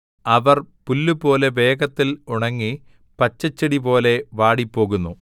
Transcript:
അവർ പുല്ല് പോലെ വേഗത്തിൽ ഉണങ്ങി പച്ചച്ചെടിപോലെ വാടിപ്പോകുന്നു